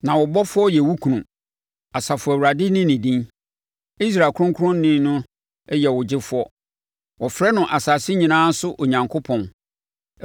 Na wo Bɔfoɔ yɛ wo kunu Asafo Awurade ne ne din, Israel Ɔkronkronni no yɛ wo Gyefoɔ. Wɔfrɛ no asase nyinaa so Onyankopɔn.